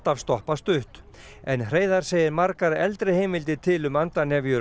en Hreiðar segir margar eldri heimildir til um á Eyjafirði